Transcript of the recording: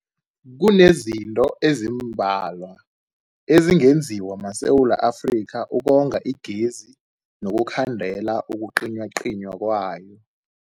Kunezinto ezimbalwa ezingenziwa maSewula Afrika ukonga igezi nokukhandela ukucinywacinywa kwayo.